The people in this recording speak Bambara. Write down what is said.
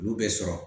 Olu bɛ sɔrɔ